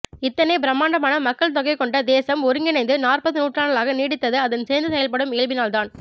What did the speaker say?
இத்தனை பிரம்மாண்டமான மக்கள் தொகை கொண்ட தேசம் ஒருங்கிணைந்து நாற்பது நூற்றாண்டுகளாக நீடித்தது அதன் சேர்ந்து செயல்படும் இயல்பினால்தான்